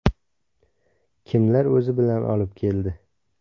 Kimlar o‘zi bilan olib keldi?